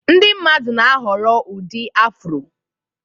Ndị mmadụ na-ahọrọ ụdị Afro